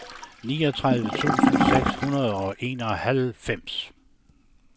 niogtredive tusind seks hundrede og enoghalvfems